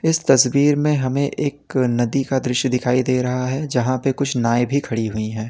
इस तस्वीर में हमें एक नदी का दृश्य दिखाई दे रहा है जहां पर कुछ नाए भी खड़ी हुई है।